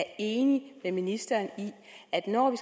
er enig med ministeren i at når vi